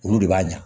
Olu de b'a ɲa